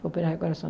Operar o coração.